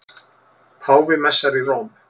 Páfi messar í Róm